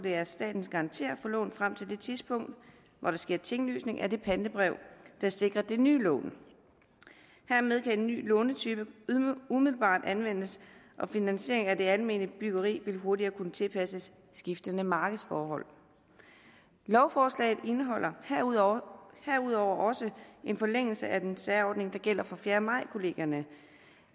at staten garanterer for lånet frem til det tidspunkt hvor der sker tinglysning af det pantebrev der sikrer det nye lån hermed kan en ny lånetype umiddelbart anvendes og finansiering af det almene byggeri vil hurtigere kunne tilpasses skiftende markedsforhold lovforslaget indeholder herudover også en forlængelse af den særordning der gælder for fjerde maj kollegierne